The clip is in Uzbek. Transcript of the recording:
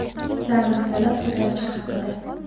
Ta’mirtalab Ipakchi haqida .